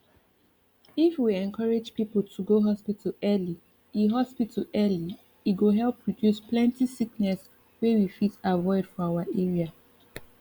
if we encourage people to go hospital early e hospital early e go help reduce plenty sickness wey we fit avoid for our area